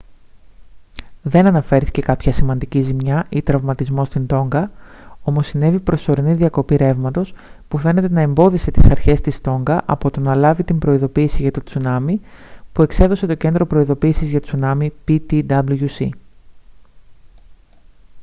δεν αναφέρθηκε κάποια σημαντική ζημιά ή τραυματισμός στην τόνγκα όμως συνέβη προσωρινή διακοπή ρεύματος που φαίνεται να εμπόδισε της αρχές της τόνγκα από το να λάβει την προειδοποίηση για το τσουνάμι που εξέδωσε το κέντρο προειδοποίησης για τσουνάμι ptwc